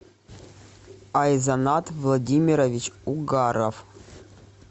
айзанат владимирович угаров